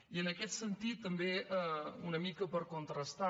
i en aquest sentit també una mica per contrastar